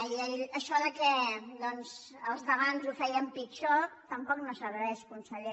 i això que doncs els d’abans ho feien pitjor tampoc no serveix conseller